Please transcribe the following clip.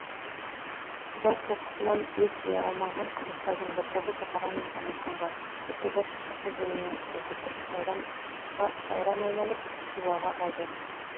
жау соққысынан ес жия алмаған қазақтардың бір тобы бұқара мен самарқанға бір тобы шыршық өзеніне асты бір тобы сауран айналып хиуаға ауды